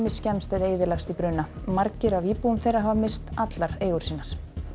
skemmst eða eyðilagst í bruna margir af íbúum þeirra hafa misst allar eigur sínar